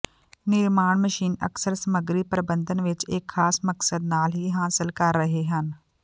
ਨਿਰਮਾਣ ਮਸ਼ੀਨ ਅਕਸਰ ਸਮੱਗਰੀ ਪਰਬੰਧਨ ਵਿੱਚ ਇੱਕ ਖਾਸ ਮਕਸਦ ਨਾਲ ਹੀ ਹਾਸਲ ਕਰ ਰਹੇ ਹਨ